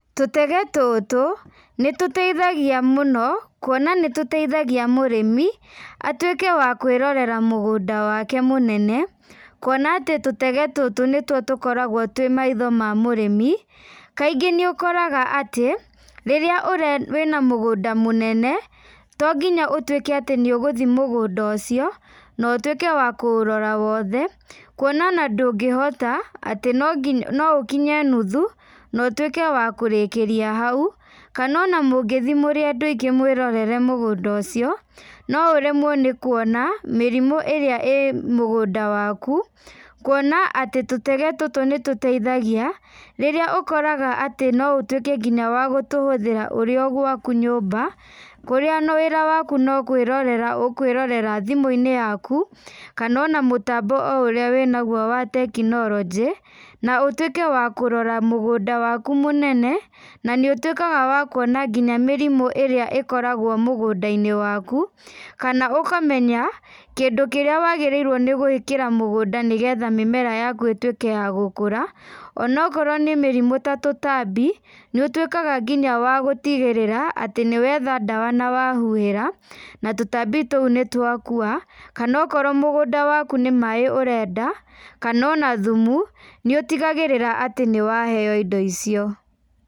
Tũtege tũtũ, nĩtũteithagia mũno, kuona nĩtũteithagia mũrĩmi, atuĩke wa kwĩrorera mũgũnda wake mũnene, kuona atĩ tũtege tũtũ nĩtuo tũkoragwo twĩ maitho ma mũrĩmi, kaingĩ nĩũkoraga atĩ, rĩrĩa ũre wĩna mũgũnda mũnene, tonginya ũtuĩke atĩ nĩũgũthiĩ mũgũnda ũcio, na ũtuĩke wa kũurora wothe, kuona ona ndũngĩhota, atĩ nonginya no ũkinye nuthu, na ũtuĩke wa kũrĩkĩria hau, kana ona mũngĩthiĩ mwĩ andũ aingĩ mwĩrorere mũgũnda ũcio, no ũremwo nĩ kuona mĩrimũ ĩrĩa ĩ mũgũnda waku, kuona atĩ tũtege tũtũ nĩtũteithagia, rĩrĩa ũkoraga atĩ no ũtuĩke nginya wa gũtũhũthĩra ũrĩa o gwaku nyũmba, kũrĩa ona wĩra waku no kwĩrorera ũkwĩrora thimũinĩ yaku, kana ona mũtambo o ũrĩa wĩnaguo wa tekinorojĩ, na ũtuĩke wa kũrora mũgũnda waku mũnene, na nĩ ũtuĩkaga wa kuona nginya mĩrimũ ĩrĩa ĩkoragwo mũgũndainĩ waku, kana ũkamenya, kĩndũ kĩrĩa wagĩrĩirwo nĩgwĩkĩra mũgũnda nĩgetha mĩmera yaku ĩtuĩke ya gũkũra, onakorwo nĩ mĩrumũ ta tũtambi, nĩũtuĩkaga nginya wa gũtigĩrĩrĩa atĩ nĩwetha ndawa na wahuhĩra, na tũtambi tũu nĩtwakua, kana onokorwo mũgũnda waku nĩ maĩ ũrenda, kana ona thumu, nĩũtigagĩrĩra atĩ nĩwaheo indo icio.